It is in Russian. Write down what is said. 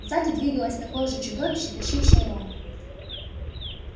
сзади двигалось такое же чудище тащившее рона